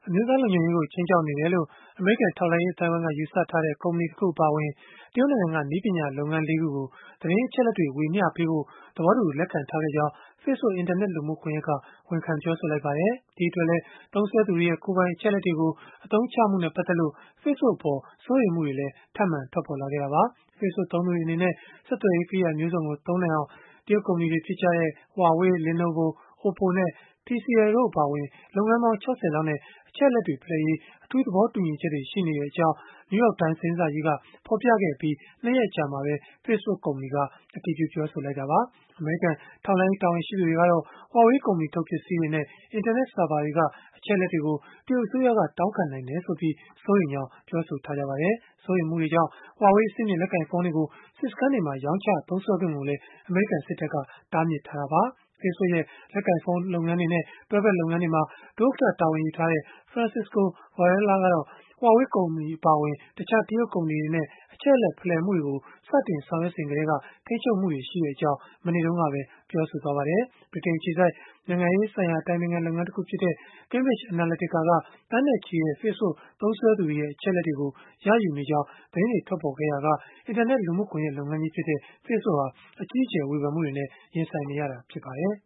အမျိုးသားလုံခြုံရေးကို ခြိမ်းခြောက်နေတယ်လို့ အမေရိကန် ထောက်လှမ်းရေး အသိုင်းအဝန်းက ယူဆထားတဲ့ ကုမ္ပဏီတခု အပါအဝင် တရုတ်နိုင်ငံက နည်းပညာလုပ်ငန်း ၄ ခုကို သတင်းအချက်အလက်တွေ ဝေမျှပေးဖို့ သဘောတူ လက်ခံထားခဲ့ကြောင်း Facebook အင်တာနက် လူမှုကွန်ယက်က ဝန်ခံပြောဆိုလိုက်ပါတယ်။ အခုနောက်ဆုံး ဝန်ခံပြောဆိုမှုကြောင့် သုံးစွဲသူတွေရဲ့ ပုဂ္ဂိုလိက အချက်အလက်တွေကို အသုံးချမှုနဲ့ ပတ်သက်လို့ Facebook ရဲ့ ကိုင်တွယ်မှုတွေအပေါ် စိုးရိမ်မှုတွေလည်း ထပ်မံထွက်ပေါ်လာပါတယ်။ Facebook သုံးသူတွေ အနေနဲ့ ဆက်သွယ်ရေး ကရိယာမျိုးစုံကို သုံးနိုင်အာင် တရုတ်ကုမ္ပဏီတွေဖြစ်ကြတဲ့ Huawei, Lenovo, OPPO နဲ့ TCL တို့ အပါအဝင် ဆက်သွယ်ရေးပစ္စည်းထုတ်လုပ်တဲ့ လုပ်ငန်းပေါင်း ၆၀ လောက်နဲ့ အချက်အလက်တွေ ဖလှယ်ရေး အထူးသဘောတူညီချက်တွေ ရှိနေတဲ့အကြောင်း New York Times သတင်းစာကြီးက ဖော်ပြခဲ့အပြီး ၂ ရက်အကြာမှာပဲ Facebook ကုမ္ပဏီက သတင်းမှန်ကန်ကြောင်း အတည်ပြုပြောဆိုခဲ့တာပါ။ အမေရိကန် ထောက်လှမ်းရေး တာဝန်ရှိသူတွေကတော့ Huawei ကုမ္ပဏီထုတ် ပစ္စည်းတွေနဲ့ အင်တာနက် ဆာဗာတွေက အချက်အလက်တွေကို တရုတ်အစိုးရက တောင်းခံနိုင်တယ်ဆိုပြီး စိုးရိမ်ကြောင်း ပြောဆိုထားကြပါတယ်။ စိုးရိမ်မှုတွေကြောင့် Huawei ကုမ္ပဏီထုတ် အဆင့်မြင့် လက်ကိုင်ဖုန်းတွေကို စစ်စခန်းတွေမှာ ရောင်းချသုံးစွဲခွင့်ကိုလည်း အမေရိကန်စစ်တပ်က တားမြစ်ထားတာပါ။ Facebook ရဲ့ လက်ကိုင်ဖုန်းလုပ်ငန်းတွေနဲ့ တွဲဖက်လုပ်ငန်းတွေမှာ ဒုဥက္ကဋ္ဌ တာဝန်ယူထားတဲ့ Francisco Varela ကတော့ Huawei အပါအဝင် တခြားတရုတ်ကုမ္ပဏီတွေနဲ့ အချက်အလက် ဖလှယ်မှုတွေကို စတင်ဆောင်ရွက်စဉ်ကတည်းက ထိန်းချုပ်မှုတွေ ရှိတဲ့အကြောင်း မနေ့တုန်းကပဲ ပြောဆိုခဲ့ပါတယ်။ ဗြိတိန်နိုငငံ အခြေစိုက် နိုင်ငံရေးဆိုင်ရာ အတိုင်ပင်ခံ လုပ်ငန်းတခုဖြစ်တဲ့ Cambridge Analytica က သန်းနဲ့ချီတဲ့ Facebook သုံးသူတွေရဲ့ အချက်အလက်တွေကို ရယူနေကြောင်း သတင်းတွေ ထွက်ပေါ်ခဲ့ချိန်ကစလို့ အင်တာနက်လူမှုကွန်ယက် လုပ်ငန်းကြီးဖြစ်တဲ့ Facebook ဟာ အကြီးအကျယ် ဝေဖန်မှုတွေနဲ့ ရင်ဆိုင်နေရတာ ဖြစ်ပါတယ်